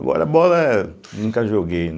Agora bola nunca joguei, né.